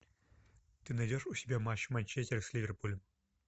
ты найдешь у себя матч манчестер с ливерпулем